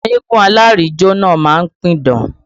Àwọn eégún alárìnjó náà má ń pidán